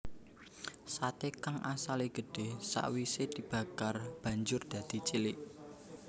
Sate kang asale gedhe sawise dibakar banjur dadi cilik